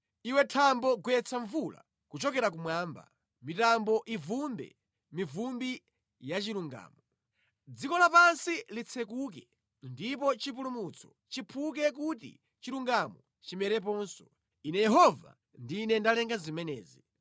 “Iwe thambo gwetsa mvula kuchokera kumwamba; mitambo ivumbwe mivumbi ya chilungamo. Dziko lapansi litsekuke, ndipo chipulumutso chiphuke kuti chilungamo chimereponso; Ine Yehova, ndine ndalenga zimenezi.